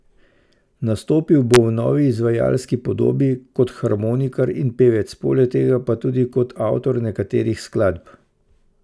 Nastopil bo v novi izvajalski podobi, kot harmonikar in pevec, poleg tega pa tudi kot avtor nekaterih skladb.